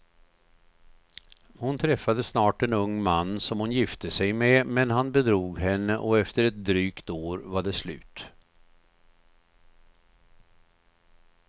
Hon träffade snart en ung man som hon gifte sig med, men han bedrog henne och efter ett drygt år var det slut.